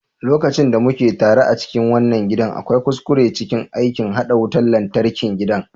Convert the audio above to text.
Lokacin da muka tare a cikin wannan gidan, akwai kuskure cikin aikin haɗa wutan lantarkin gidan.